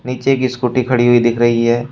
नीचे एक स्कूटी खड़ी हुई दिख रही है।